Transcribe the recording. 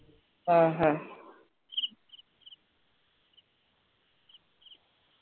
ആഹ്ഹ